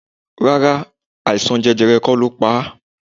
Rárá, àìsàn jẹjẹrẹ kó lo pa á.